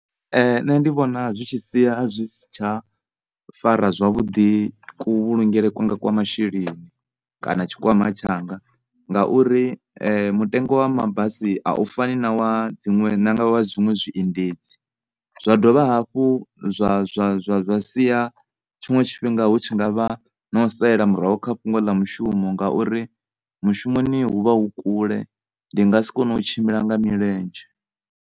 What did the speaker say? Nṋe ndi vhona zwi tshi sia zwi si tsha fara zwavhuḓi kuvhulungele kwanga kwa masheleni kana tshikwama tshanga, ngauri mutengo wa mabasi a u fani na wa zwiṅwe zwiendedzi. Zwa dovha hafhu zwa, zwa, zwa, zwa sia tshiṅwe tshifhinga hu tshi nga vha na u salela murahu kha fhungo ḽa mushumo mishumoni hu vha hu kule ndi ngasi kone u tshimbila nga milenzhe.